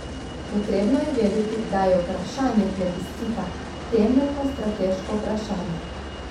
Potrebno je vedeti, da je vprašanje plebiscita temeljno strateško vprašanje.